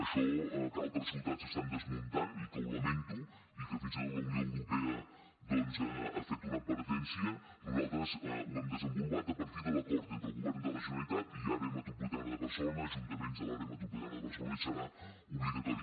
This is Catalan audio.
això que altres ciutats estan desmuntant i que ho lamento i que fins i tot la unió europea doncs ha fet una advertència nosaltres ho hem desenvolupat a partir de l’acord entre el govern de la generalitat i àrea metropolitana de barcelona ajuntaments de l’àrea metropolitana de barcelona i serà obligatori